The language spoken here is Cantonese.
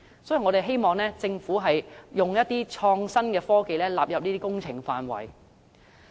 所以，我們希望政府會將創新科技納入這些工程範圍。